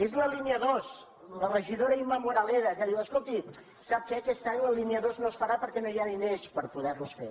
és la línia dos la regidora imma moraleda que diu escolti sap què aquest any la línia dos no es farà perquè no hi ha diners per poder la fer